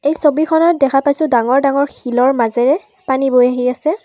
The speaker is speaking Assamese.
ছবিখনত দেখা পাইছোঁ ডাঙৰ ডাঙৰ শিলৰ মাজেৰে পানী বৈ আহি আছে।